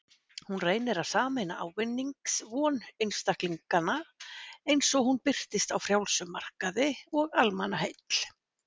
Hún reynir að sameina ávinningsvon einstaklinganna, eins og hún birtist á frjálsum markaði, og almannaheill.